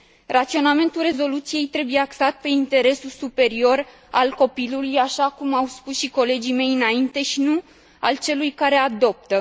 Raționamentul rezoluției trebuie axat pe interesul superior al copilului, așa cum au spus și colegii mei înainte și nu al celui care adoptă.